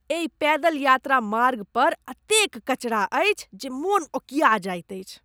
एहि पैदल यात्रा मार्गपर एतेक कचरा अछि जे मोन ओकिया जाइत अछि।